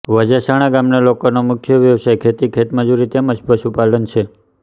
વજાસણા ગામના લોકોનો મુખ્ય વ્યવસાય ખેતી ખેતમજૂરી તેમ જ પશુપાલન છે